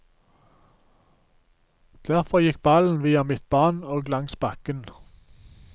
Derfor gikk ballen via midtbanen og langs bakken.